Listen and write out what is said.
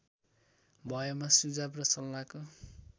भएमा सुझाव र सल्लाहको